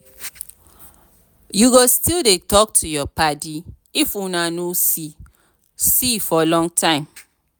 you go still dey talk to your paddy if una no see see for long time?